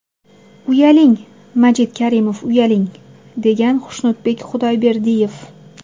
Uyaling, Majit Karimov, uyaling...”, degan Xushnudbek Xudoyberdiyev.